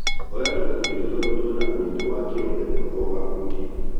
Oya tũkundi tũtatũ twĩna ũritũ wa kirũ ĩmwe o gakundi.